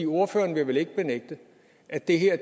ordføreren vil vel ikke benægte at det her